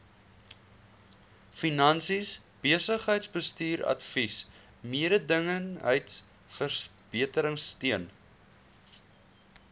finansies besigheidsbestuursadvies mededingendheidsverbeteringsteun